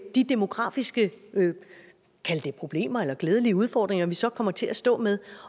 de demografiske kald det problemer eller glædelige udfordringer vi så kommer til at stå med